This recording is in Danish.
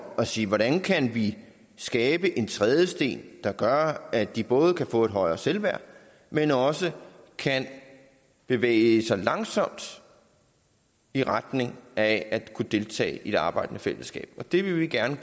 at sige hvordan kan vi skabe en trædesten der gør at de både kan få et højere selvværd men også kan bevæge sig langsomt i retning af at kunne deltage i et arbejdende fællesskab og det vil vi gerne